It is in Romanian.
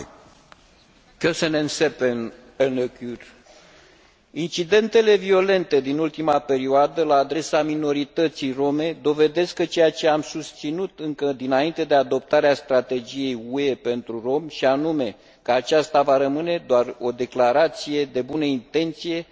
Incidentele violente din ultima perioadă la adresa minorității rome dovedesc ceea ce am susținut încă dinainte de adoptarea strategiei UE pentru romi, și anume că aceasta va rămâne doar o declarație de bune intenții, atâta timp cât nu este implementată în mod corect și eficient.